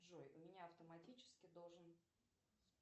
джой у меня автоматически должен